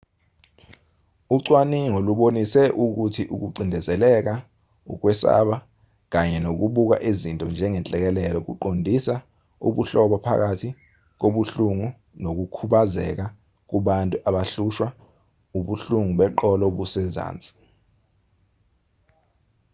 ucwaningo lubonise ukuthi ukucindezeleka ukwesaba kanye nokubuka izinto njengenhlekelele kuqondisa ubuhlobo phakathi kobuhlungu nokukhubazeka kubantu abahlushwa ubuhlungo beqolo obusezansi